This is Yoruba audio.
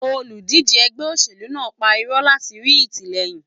Olùdíje ẹgbẹ́ òṣèlú náà ń pa irọ́ láti rí ìtìlẹyìn.